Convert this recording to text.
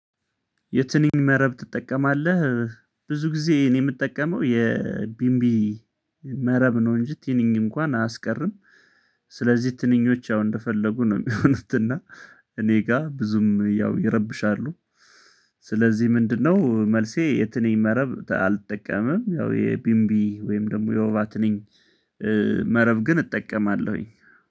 የትንኝ መረብ ትጠቀማለህ ብዙ ጊዜ እኔ የምጠቀመው የቢምቢ መረብ ነው እንጂ ትንኝ እንኳን አያስቀርም። ስለዚህ ትንኞች ያው እንደፈለጉ ነው የሚሆኑት እና እኔ ጋር ብዙም ያው ይረብሻሉ። ስለዚህ ምንድነው መልሴ የትንኝ መረብ አልጠቀምም። ያው የቢንቢ ወይም ደግሞ የወባ ትንኝ መረብ ግን እጠቀማለሁኝ